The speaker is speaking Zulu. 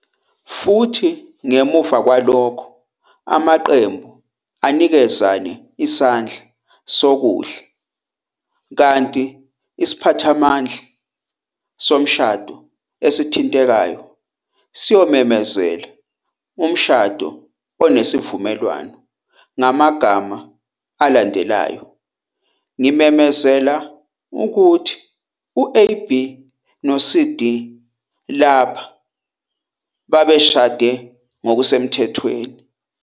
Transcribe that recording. futhi ngemuva kwalokho amaqembu anikezane isandla sokudla kanti isiphathimandla somshado esithintekayo siyomemezela umshado onesivumelwano ngamagama alandelayo- "Ngimemezela ukuthi u-AB no-CD lapha babeshade ngokusemthethweni.